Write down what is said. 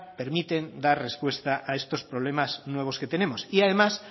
permiten dar respuesta a estos problemas nuevos que tenemos y además